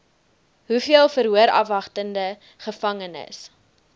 hoeveel verhoorafwagtende gevangenes